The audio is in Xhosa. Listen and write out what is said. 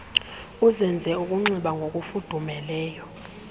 uzenze ukunxiba ngokufudumeleyo